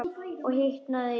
Og hitnaði í augum.